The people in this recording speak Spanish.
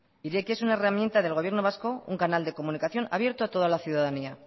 irekia es una herramienta del gobierno vasco un canal de comunicación abierto a toda la ciudadanía